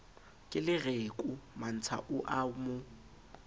kelereko mantsha o a mo